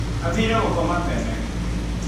Aathiire gũkoma tene.